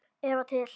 Eða til